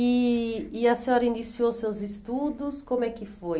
Eh E a senhora iniciou seus estudos, como é que foi?